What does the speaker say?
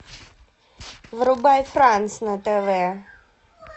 врубай франс на тв